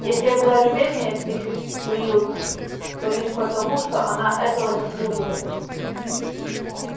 если я куда любезнее с миссис уилкс то лишь потому что она этого заслуживает